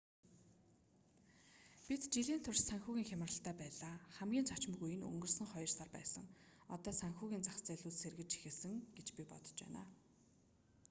бид жилийн турш санхүүгийн хямралтай байлаа хамгийн цочмог үе нь өнгөрсөн хоёр сар байсан одоо санхүүгийн зах зээлүүд сэргэж эхэлнэ гэж би бодож байна